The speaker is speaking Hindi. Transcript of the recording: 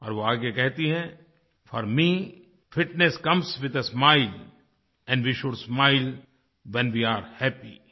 और वो आगे कहती हैं for me fitness comes with a smiles and they should smile when they A R E happy